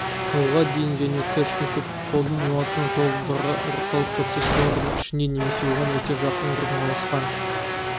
жолға дейін және кэштің көп қолданылатын жолдары орталық процессорлардың ішінде немесе оған өте жақын орналасқан